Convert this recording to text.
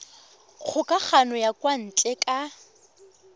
kgokagano ya kwa ntle ka